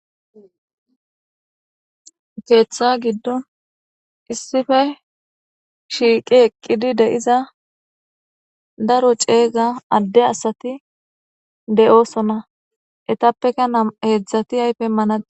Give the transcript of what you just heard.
Keeththa giddon issife shiiqi eqqidi deiza daro ceeza adde asati deyoosona etappeka heedzdzati aypemanade.